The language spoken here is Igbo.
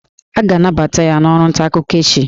A ga-anabata ya n'ọrụ ntaakụkọ echi